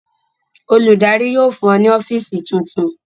Olùdarí yóò fún ọ ní ọ́fíísì tuntun.